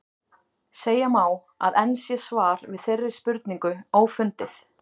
Segja má, að enn sé svar við þeirri spurningu ófundið.